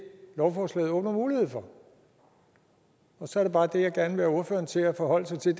lovforslaget åbner mulighed for og så er det bare det jeg gerne vil have ordføreren til at forholde sig til